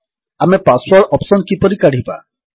ଆମେ password option କିପରି କାଢ଼ିବା